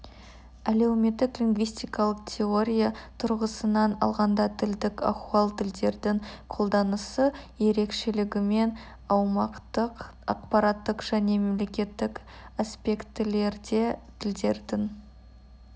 әлеуметтік лингвистикалық теория тұрғысынан алғанда тілдік ахуал тілдердің қолданысы ерекшелігімен аумақтық ақпараттық және мемлекеттік аспектілерде тілдердің